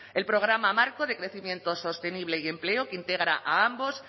el programa marco de crecimiento sostenible y empleo que integra a ambos